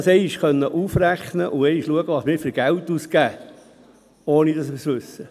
Man sollte einmal aufrechnen und schauen können, wie viel Geld wir ausgeben, ohne es zu wissen.